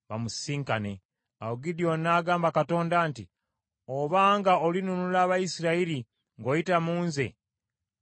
Awo Gidyoni n’agamba Katonda nti, “Obanga olinunula Abayisirayiri ng’oyita mu nze nga bwe wasuubiza,